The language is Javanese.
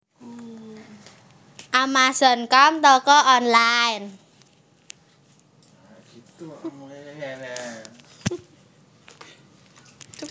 Amazon com toko online